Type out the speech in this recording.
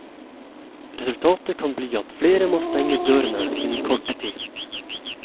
Resultatet kan bli at flere må stenge dørene innen kort tid.